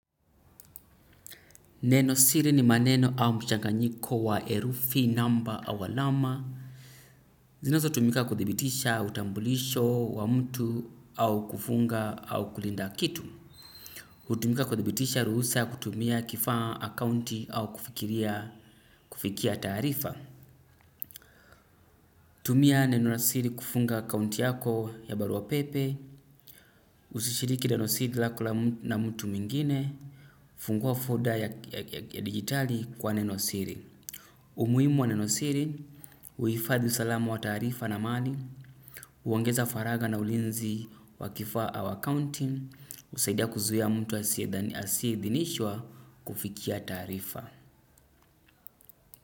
Neno siri ni maneno au mchanganyiko wa herufi namba au alama. Zinazo tumika kuthibitisha utambulisho wa mtu au kufunga au kulinda kitu. Hutumika kuthibitisha ruhusa kutumia kifaa akaunti au kufikiria kufikia taarifa. Tumia neno la siri kufunga akaunti yako ya barua pepe, usishiriki neno siri lako na mtu mwengine, fungua folder ya dijitali kwa neno siri. Umuhimu wa nenosiri, huifadhi usalama wa taarifa na mali, huongeza faraga na ulinzi wa kifaa au akaunti, husaidia kuzuia mtu asiyeidhinishwa kufikia taarifa.